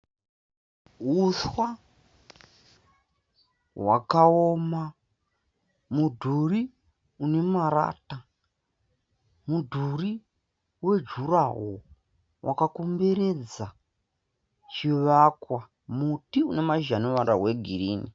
Huswa hwakaoma. Mudhuri une marata. Mudhuri wejuraho wakakomberedza chivakwa. Muti une mashizha ane ruvara rwegirini.